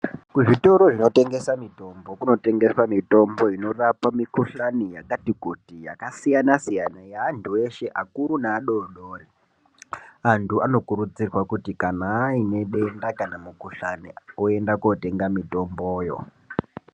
Kuzvitoro zvinotengesa mutombo kunotengeswe mitombo inorapa mikhuhlani yakati kuti yakasiyana soyana yaantu eshe akuru neadodori antu Anokurudzirwa kuti kana aine denda kana mukhuhlani oenda kotenga mutomboyo.